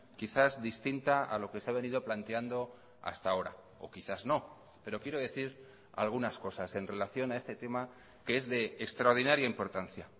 quizás distinta a lo que se ha venido planteando hasta ahora o quizás no pero quiero decir algunas cosas en relación a este tema que es de extraordinaria importancia